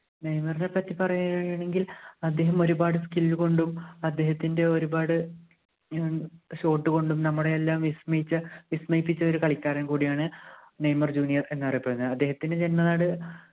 നെയ്മറിനെ പറ്റി പറയാണെങ്കിൽ അദ്ദേഹം ഒരുപാട് skill കൊണ്ടും അദ്ദേഹത്തിൻ്റെ ഒരുപാട് ഏർ short കൊണ്ടും നമ്മളെയെല്ലാം വിസ്മയിച്ച വിസ്മയിപ്പിച്ച ഒരു കളിക്കാരൻ കൂടിയാണ് നെയ്മർ ജൂനിയർ എന്നറിയപ്പെടുന്നത് അദ്ദേഹത്തിൻ്റെ ജന്മനാട്